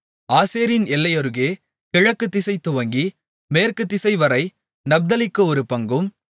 ஆசேரின் எல்லையருகே கிழக்குதிசை துவங்கி மேற்கு திசைவரை நப்தலிக்கு ஒரு பங்கும்